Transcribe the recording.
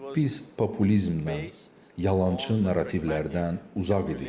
Biz populizmdən, yalançı narrativlərdən uzaq idik.